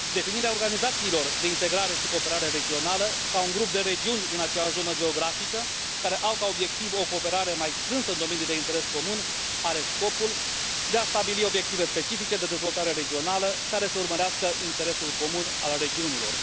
Definirea organizațiilor de integrare și cooperare regională ca un grup de regiuni din aceeași zonă geografică, care au ca obiectiv o cooperare mai strânsă în domenii de interes comun, are scopul de a stabili obiective specifice de dezvoltare regională, care să urmărească interesul comun al regiunilor.